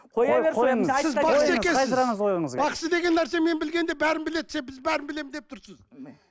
бақсы деген нәрсе мен білгенде бәрін біледі сен біз бәрін білемін деп тұрсыз